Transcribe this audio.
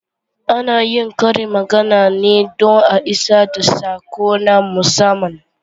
Ana yin karin magana ne don a isar da sako na musamman.